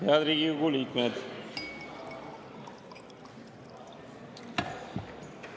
Head Riigikogu liikmed!